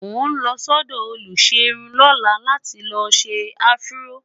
mọ n ló sọdọ oluserun lọla là tí ló ṣé afro